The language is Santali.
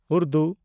ᱩᱨᱫᱩ